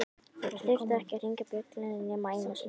Þeir þurftu ekki að hringja bjöllunni nema einu sinni.